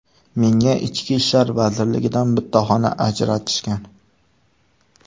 Menga Ichki ishlar vazirligidan bitta xona ajratishgan.